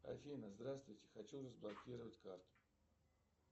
афина здравствуйте хочу разблокировать карту